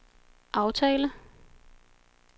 aftale